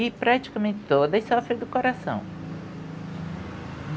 E praticamente todas sofrem do coração.